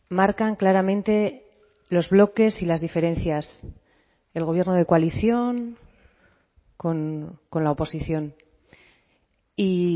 marcan claramente los bloques y las diferencias el gobierno de coalición con la oposición y